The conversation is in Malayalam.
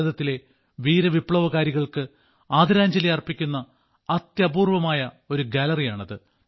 ഭാരതത്തിലെ വീര വിപ്ലവകാരികൾക്ക് ആദരാഞ്ജലി അർപ്പിക്കുന്ന അത്യപൂർവ്വമായ ഒരു ഗാലറിയാണത്